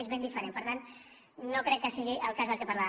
és ben diferent per tant no crec que sigui el cas de què parlava